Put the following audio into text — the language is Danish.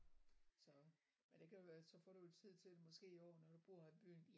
Så men det kan jo være så får du jo tid til måske i år når du bor i byen